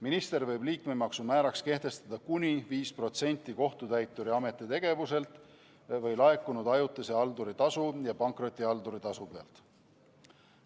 Minister võib liikmemaksu määraks kehtestada kuni 5% kohtutäituri ametitegevuse pealt või laekunud ajutise halduri tasu ja pankrotihalduri tasu pealt.